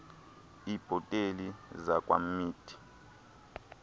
iibhotile zakwa mead